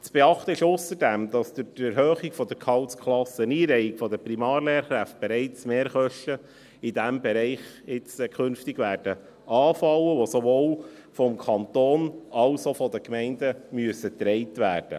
Zu beachten ist ausserdem, dass durch die Erhöhung der Gehaltsklasseneinreihung der Primarlehrkräfte künftig bereits Mehrkosten in diesem Bereich anfallen werden, die sowohl vom Kanton als auch von den Gemeinden getragen werden müssen.